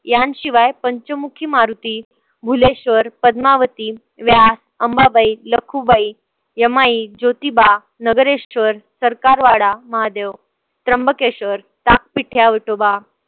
ह्यांशिवाय Panchmukhi Maruti, Ghuleshwar, Padmavati, Vyas, Ambabai, Lakhubai, Yamai, Jotiba, Nagareshwar, Sarkarwada Mahadev, Trimbakeshwar, Takpithya Vithoba